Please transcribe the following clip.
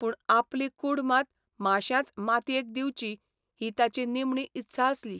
पूण आपली कूड मात माश्यांच मातयेक दिवची ही ताची निमणी इत्सा आसली.